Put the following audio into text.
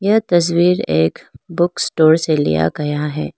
यह तस्वीर एक बुक स्टोर से लिया गया है।